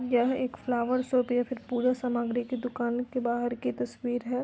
यह एक flower shop या फिर पूजा सामग्री की दुकान के बाहर की तस्वीर है।